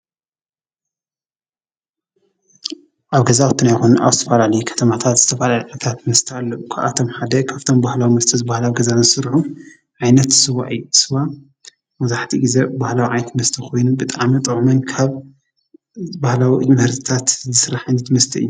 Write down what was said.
ኣብ ገዛዉትና ይኩን ኣብ ዝተፈላለዩ ከተማታታ ዝተፈላለዩ መስተታት ኣለዉ። ካብኣቶም ሓደ ካብቶም ብባህላዊ መስተ ዝበሃሉ ዝስርሑ ዓይነት ስዋ እዩ። ስዋ መብዛሕቲኡ ግዘ ባህላዊ ዓይነት መስተ ኮይኑ ብጣዕሚ ጥዑምን ካብ ባህላዊ ምህርትታት ዝስራሕን መስተ እዩ።